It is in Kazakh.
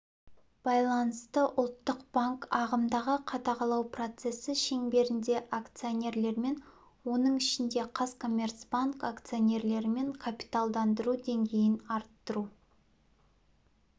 байланысты ұлттық банк ағымдағы қадағалау процесі шеңберінде акционерлермен оның ішінде қазкоммерцбанк акционерлерімен капиталдандыру деңгейін арттыру